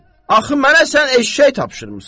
Axı mənə sən eşşək tapşırmısan.